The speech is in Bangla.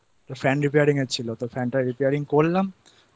একটা Fan Repairing এর ছিল তো Fan টা Repairing